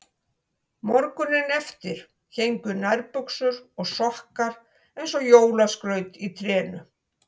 Morguninn eftir héngu nærbuxur og sokkar eins og jólaskraut í trénu.